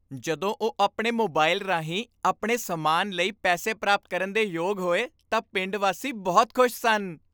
ਜਦੋਂ ਉਹ ਆਪਣੇ ਮੋਬਾਈਲ ਰਾਹੀਂ ਆਪਣੇ ਸਮਾਨ ਲਈ ਪੈਸੇ ਪ੍ਰਾਪਤ ਕਰਨ ਦੇ ਯੋਗ ਹੋਏ ਤਾਂ ਪਿੰਡ ਵਾਸੀ ਬਹੁਤ ਖੁਸ਼ ਸਨ।